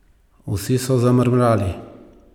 Vsi so zamrmrali.